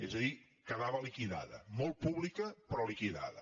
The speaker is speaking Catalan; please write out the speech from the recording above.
és a dir quedava liquidada molt pública però liquidada